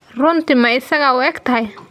Runtii ma isaga u eg yahay?